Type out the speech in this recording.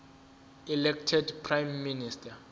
elected prime minister